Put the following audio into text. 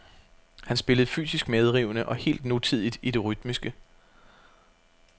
Han spillede fysisk medrivende og helt nutidigt i det rytmiske.